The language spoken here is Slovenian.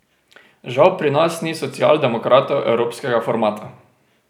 Žal pri nas ni socialdemokratov evropskega formata.